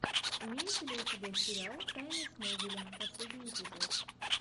имеется ли у тебя сериал тайны смолвиля последний эпизод